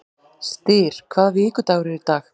Styr, hvaða vikudagur er í dag?